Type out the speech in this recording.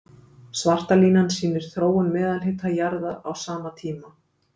Svarta línan sýnir þróun meðalhita jarðar á sama tíma.